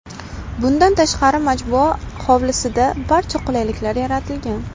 Bundan tashqari majmua hovlisida barcha qulayliklar yaratilgan.